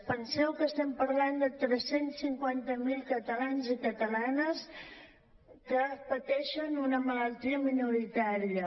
penseu que estem parlant de tres cents i cinquanta miler catalans i catalanes que pateixen una malaltia minoritària